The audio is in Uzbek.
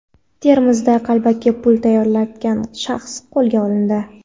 Termizda qalbaki pul tayyorlayotgan shaxs qo‘lga olindi.